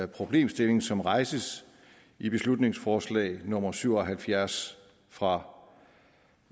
problemstilling som rejses i beslutningsforslag nummer b syv og halvfjerds fra